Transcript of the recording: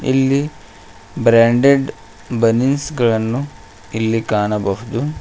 ಇಲ್ಲಿ ಬ್ರಾಂಡೆಡ್ ಬನಿನ್ಸಗಳನ್ನು ಇಲ್ಲಿ ಕಾಣಬಹುದು.